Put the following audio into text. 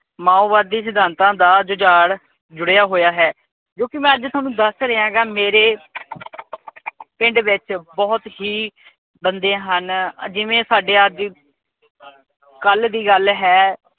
ਮਾਓਵਾਦੀ ਸਿਧਾਂਤਾ ਦਾ ਜੁਝਾਰ ਜੁੜਿਆ ਹੋਇਆ ਹੈ ਜੋ ਕੀ ਮੈਂ ਅੱਜ ਥੋਨੂੰ ਦੱਸ ਰਿਹਾਗਾ। ਮੇਰੇ ਪਿੰਡ ਵਿੱਚ ਬਹੁਤ ਹੀ ਬੰਦੇ ਹਨ, ਜਿਵੇ ਸਾਡੇ ਅੱਜ ਕਲ ਦੀ ਗੱਲ ਹੈ।